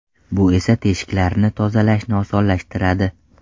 Bu esa teshiklarni tozalashni osonlashtiradi.